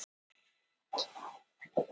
Styttingin er unnin af ritstjórn Vísindavefsins.